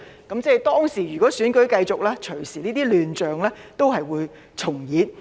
如果當時選舉如期進行，這些亂象隨時重演。